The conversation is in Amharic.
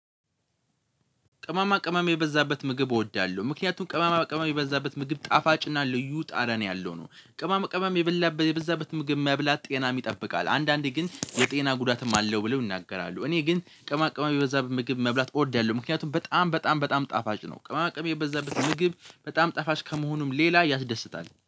ቅመማ ቅመም የበዛበት ምግብ እወዳለሁ ምክንያቱም ቅመማ ቅመም የበዛበት ምግብ ጣፋጭና ልዩ ጠረን ያለው ነው። ቅም ቅመም የበዛበት ምግብ መብላት ጤናም ይጠብቃል አንዳንዴ ግን የጤና ጉዳትም አለው ብለው ይናገራሉ። እኔ ግን ቅመማ ቅመም የበዛበት ምግብ መብላት እወዳለሁ ምክንያቱም በጣም በጣም በጣም ጣፋጭ ነው። ቅመማቅመም የበዛበት ምግብ በጣም ጣፋጭ ከመሆኑም ሌላ ያስደስታል